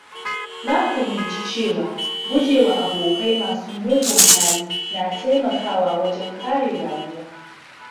Na fahimci cewa gujewa abokai masu mugun hali na taimakawa wajen kare rayuwa.